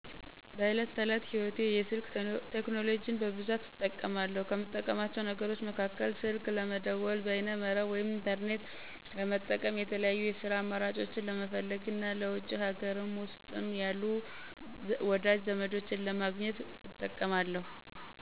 በዕለት ተዕለት ህይወቴ የስልክ ቴክኖሎጂን በብዛት እጠቀማለሁ። ከምጠቀማቸው ነገሮች መካከል፦ ስልክ ለመደወል፣ በይነ-መረብ (ኢንተርኔት) ለመጠቀም፣ የተለያዩ የስራ አማራጮችን ለመፈለግ እና ለውጪም ሀገር ውስጥም ያሉ ወዳጅ ዘመዶቼን ለማግኘት እንጠቀማለሁ።